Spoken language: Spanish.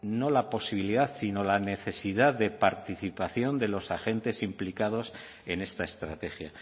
no la posibilidad sino la necesidad de participación de los agentes implicados en esta estrategia